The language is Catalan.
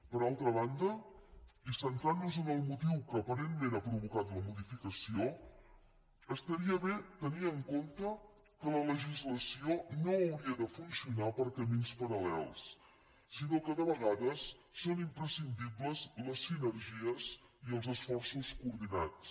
per altra banda i centrant nos en el motiu que aparentment ha provocat la modificació estaria bé tenir en compte que la legislació no hauria de funcionar per camins paral·lels sinó que de vegades són imprescindibles les sinergies i els esforços coordinats